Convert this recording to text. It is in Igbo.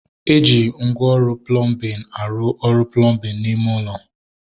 Eji ngwa ọrụ plọmbin arụ ọrụ plọmbin n'ime ulo